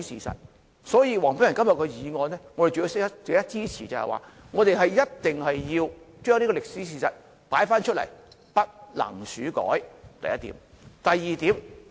所以，黃碧雲議員今天的議案是值得我們支持的，我們一定要重提這個歷史事實，不能竄改，這是第一點。